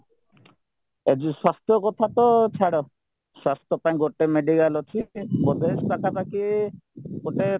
ଏ ଯୋଉ ସ୍ୱାସ୍ଥ୍ୟ କଥାତ ଛାଡ ସ୍ୱାସ୍ଥ୍ୟ ପାଇଁ ଗୋଟେ medical ଅଛି ବୋଧେ ପାଖା ପାଖି ଗୋଟେ